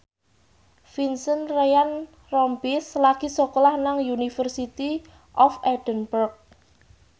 Vincent Ryan Rompies lagi sekolah nang University of Edinburgh